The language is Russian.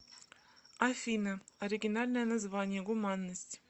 афина оригинальное название гуманность